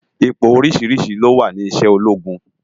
Ipó óriṣiriṣi ló wá ni iṣè ólógún